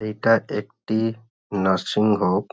এটা একটি nursing home.